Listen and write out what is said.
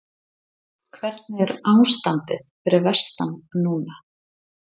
Hvernig er ástandið fyrir vestan núna?